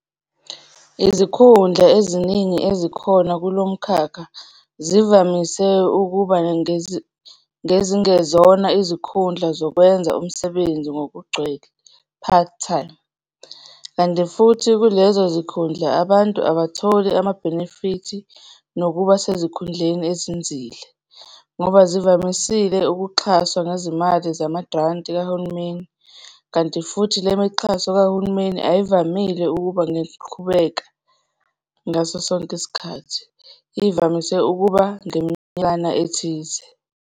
Izikhundla eziningi ezikhona kulo mkhakha zivamise ukuba ngezingezona izikkhundla zokwenza umsebenzi ngokugcwele, part-time, kanti futhi kulezo zikhundla abantu abatholi ama-benefit nokuba sezikhundleni ezinzile, ngoba zivamises ukuxhaswa ngezimali zamagranti kahulumeni kanti futhi le mixhaso kahulumeni ayivamile ukuba ngeqhubeka ngaso sonke isikhathi, ivamise ukuba ngeminyakana ethize.